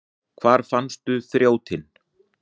Hvar fannstu þrjótinn?